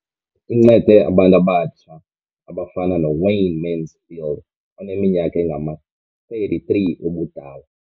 Incede abantu abatsha abafana noWayne Mansfield oneminyaka engama-33 ubudala.